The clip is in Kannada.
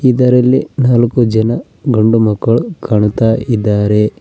ಇದರಲ್ಲಿ ನಾಲಕ್ಕು ಜನ ಗಂಡು ಮಕ್ಕಳು ಕಾಣುತ್ತಾ ಇದ್ದಾರೆ.